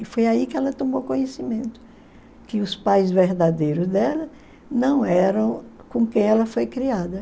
E foi aí que ela tomou conhecimento que os pais verdadeiros dela não eram com quem ela foi criada.